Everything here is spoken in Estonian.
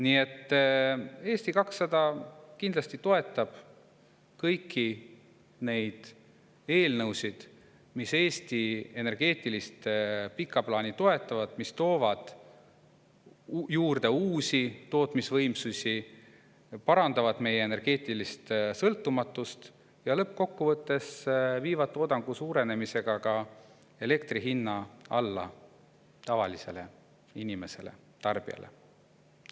Nii et Eesti 200 kindlasti toetab kõiki neid eelnõusid, mis Eesti energeetilist pikka plaani toetavad ja mis toovad siia juurde uusi tootmisvõimsusi, parandavad meie energeetilist sõltumatust ja mis lõppkokkuvõttes viivad toodangu suurenemise abil ka elektri hinna tavalise inimese, tarbija jaoks alla.